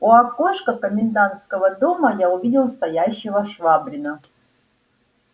у окошка комендантского дома я увидел стоящего швабрина